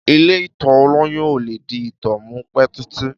Ìlé ìtọ̀ òlòyún òlẹ di ìtọ̀ mú pẹ titi.